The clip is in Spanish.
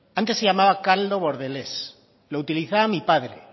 antes se llamaba caldo bordelés lo utilizaba mi padre